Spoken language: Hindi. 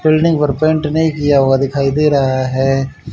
बिल्डिंग पर पेंट नहीं किया हुआ दिखाई दे रहा है।